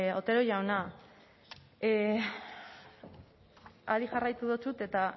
otero jauna hari jarraitu dizut eta